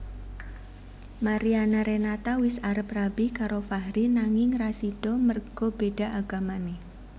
Mariana Renata wis arep rabi karo Fahri nanging ra sido merga beda agamane